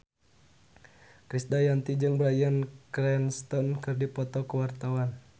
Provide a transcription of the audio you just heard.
Krisdayanti jeung Bryan Cranston keur dipoto ku wartawan